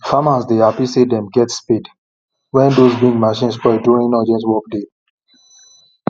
farmers dey happy say them get spade wen those big machine spoil during urgent work day